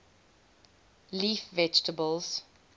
leaf vegetables